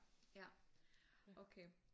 Ja okay